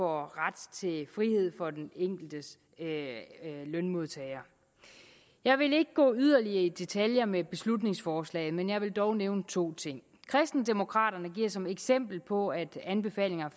ret til frihed for den enkelte lønmodtager jeg vil ikke gå yderligere i detaljer med beslutningsforslaget men jeg vil dog nævne to ting kristendemokraterne giver som eksempel på at anbefalinger